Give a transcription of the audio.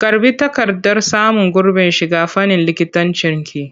Karɓi takardar samun gurbin shiga fannin likitancinki!